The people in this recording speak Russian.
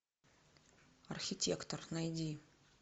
архитектор найди